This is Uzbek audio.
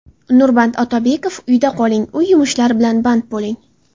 Nurmat Otabekov: Uyda qoling, uy yumushlari bilan band bo‘ling.